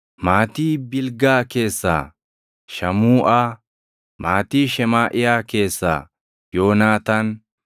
maatii Bilgaa keessaa Shamuuʼaa; maatii Shemaaʼiyaa keessaa Yoonaataan;